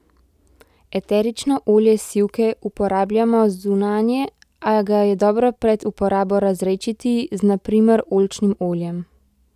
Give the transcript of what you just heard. Eterično olje sivke uporabljamo zunanje, a ga je dobro pred uporabo razredčiti z, na primer, oljčnim oljem.